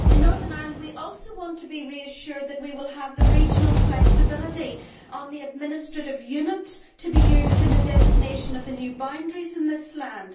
In Northern Ireland we also want to be reassured that we will have regional flexibility on the administrative unit to be used in the designation of the new boundaries in this land.